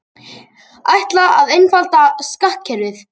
Ætla að einfalda skattkerfið